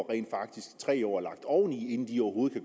rent faktisk tre år lagt oveni inden de overhovedet